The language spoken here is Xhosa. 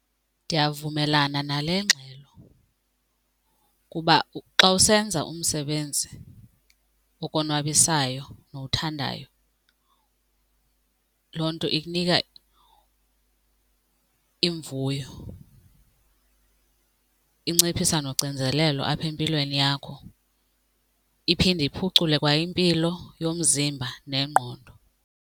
Ndiyavumelana nale ngxelo kuba xa usenza umsebenzi okonwabisayo nowuthandayo loo nto ikunika imvuyo, inciphisa nocinzelelo apha empilweni yakho iphinde iphucule kwa impilo yomzimba nengqondo.